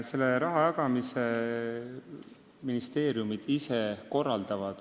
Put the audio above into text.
Selle rahajagamise korraldavad ministeeriumid ise.